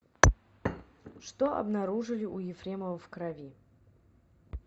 что обнаружили у ефремова в крови